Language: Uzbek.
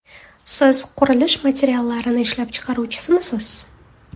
Siz qurilish materiallarini ishlab chiqaruvchimisiz?